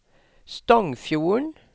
Stongfjorden